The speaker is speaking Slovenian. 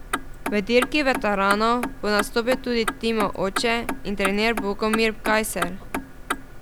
V dirki veteranov bo nastopil tudi Timov oče in trener Bogomir Gajser.